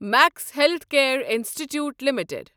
Max healthcare institute limited